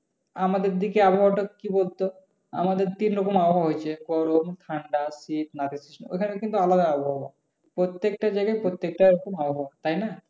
আমাদের দিকে আবহাওয়া টা কি বলতো? আমাদের তিন রকম আবহাওয়া হয়েছে গরম ঠান্ডা নাতিশীতোষ্ণ। ওখানে কিন্তু আলাদা আবহাওয়া প্রত্যেক যায়গায় প্রত্যেকটা এইরকম আবহাওয়া। তাই না?